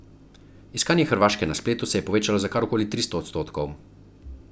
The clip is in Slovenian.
Iskanje Hrvaške na spletu se je povečalo za kar okoli tristo odstotkov.